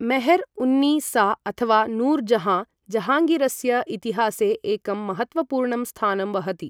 मेहर् उन्नि सा अथवा नूर् जहाँ, जहाङ्गीरस्य इतिहासे एकं महत्वपूर्णं स्थानं वहति।